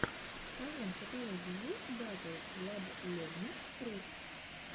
в твоем каталоге есть батл владлебнич рус